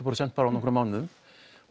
prósent á nokkrum mánuðum